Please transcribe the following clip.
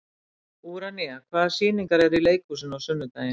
Úranía, hvaða sýningar eru í leikhúsinu á sunnudaginn?